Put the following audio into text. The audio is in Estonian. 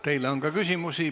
Teile on ka küsimusi.